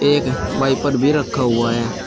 एक वाइपर भी रखा हुआ है।